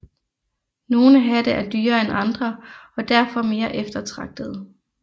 Nogle hatte er dyrere end andre og derfor mere eftertragtede